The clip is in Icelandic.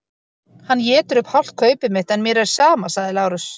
Hann étur upp hálft kaupið mitt en mér er sama, sagði Lárus.